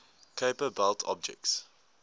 kuiper belt objects